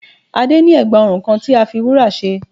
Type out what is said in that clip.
Adé ní ègbà ọrùn kan tí a fi wúrà ṣe